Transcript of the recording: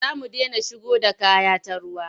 Za mu dena shigo da kaya ta ruwa.